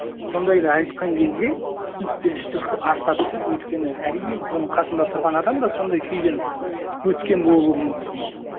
сондайды айтқан кезде түсініспешілік арта түседі өйткені әрине оның қасында тұрған адам да сондай күйден өткен болуы мүмкін